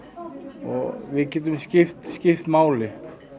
og við getum skipt skipt máli